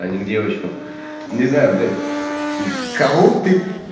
а ни к девочкам не знаю блять мм кого ты